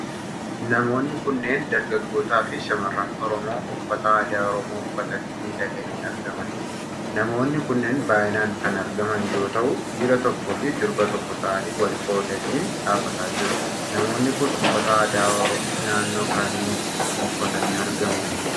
Namoonni kunneen dargaggoota fi shamarran Oromoo uffata aadaa Oromoo uffatanii miidhaganii argamanidha. Namoonni kunneen baay'inaan kan argaman yoo ta'u, dhiira tokkoo fi durba tokko ta'anii wal qoqqoodanii dhaabataa jiru. Namoonni kun uffata aadaa naannoo kamii uffatanii argamu?